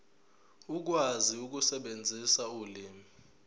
ukwazi ukusebenzisa ulimi